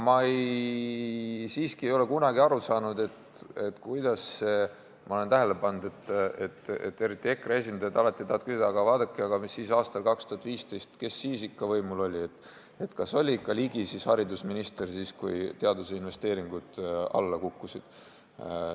Ma olen tähele pannud, et eriti EKRE esindajad tahavad alati küsida, et vaadake, aga mis siis aastal 2015 oli, kes siis ikka võimul oli, kas oli ikka Ligi haridusminister, kui teaduse investeeringud alla kukkusid.